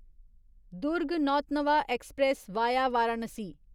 Durg Nautanwa express via Varanasi